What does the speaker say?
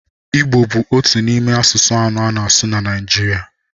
Igbo bụ otu n'ime asụsụ anọ a na-asụ na Naịjirịa.